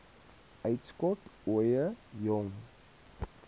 uitskot ooie jong